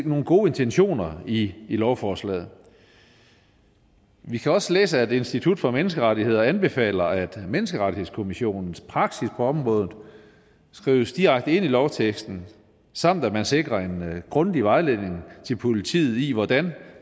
nogle gode intentioner i lovforslaget vi kan også læse at institut for menneskerettigheder anbefaler at den europæiske menneskerettighedsdomstols praksis på området skrives direkte ind i lovteksten samt at man sikrer en grundig vejledning til politiet i hvordan